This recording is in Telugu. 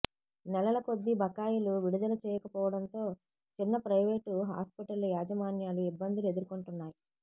నెలలకొద్దీ బకాయిలు విడుదల చేయకపోవడంతో చిన్న ప్రైవేటు హాస్పిటళ్ల యాజమాన్యాలు ఇబ్బందులు ఎదుర్కొంటున్నాయి